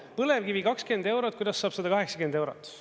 Põlevkivi 20 eurot, kuidas saab 180 eurot.